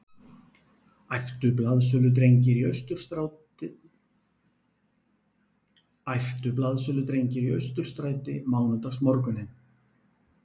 æptu blaðsöludrengir í Austurstræti mánudagsmorguninn